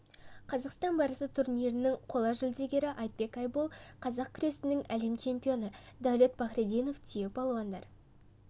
қазақстан барысы турнирінің қола жүлдегері айтбек айбол қазақ күресінен әлем чемпионы дәулет пахрединов түйе палуандар